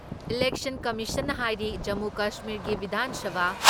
ꯏꯂꯦꯟꯁꯟ ꯀꯃꯤꯁꯟꯅ ꯍꯥꯏꯔꯤ ꯖꯃꯨ ꯀꯁꯃꯤꯔꯒꯤ ꯕꯤꯙꯥꯟ ꯁꯚꯥ